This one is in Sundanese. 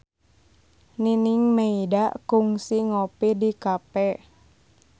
Nining Meida kungsi ngopi di cafe